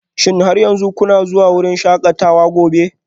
Shin har yanzu kuna zuwa wurin shakatawa gobe?